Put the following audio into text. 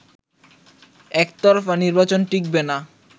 একতরফা নির্বাচন টিকবেনা